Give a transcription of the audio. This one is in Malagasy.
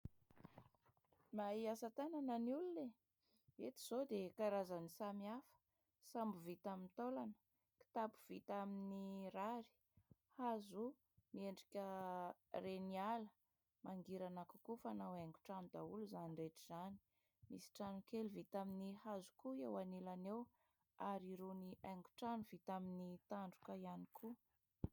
Mahay asa tanana ny olona e ! Eto izao dia karazany samihafa : sambo vita amin'ny taolana, kitapo vita amin'ny rary, hazo miendrika reniala ; mangirana kokoa, fanao haingon-trano daholo izany rehetra izany. Misy trano kely vita amin'ny hazo koa eo anilany eo ary irony haingon-trano vita amin'ny tandroka ihany koa.